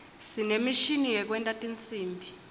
sinemishini yekwenta tinsimbi